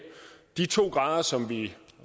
de to grader som vi